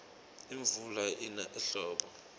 imvula ina ehlobo